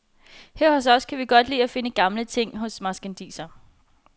Her hos os kan vi godt lide at finde gamle ting hos marskandisere.